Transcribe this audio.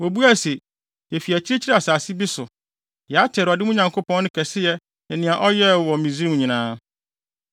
Wobuaa se, “Yefi akyirikyiri asase bi so. Yɛate Awurade, mo Nyankopɔn no kɛseyɛ ne nea ɔyɛɛ wɔ Misraim nyinaa.